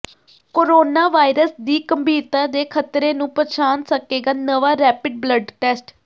corona virus ਦੀ ਗੰਭੀਰਤਾ ਦੇ ਖ਼ਤਰੇ ਨੂੰ ਪਛਾਣ ਸਕੇਗਾ ਨਵਾਂ ਰੈਪਿਡ ਬਲੱਡ ਟੈਸਟ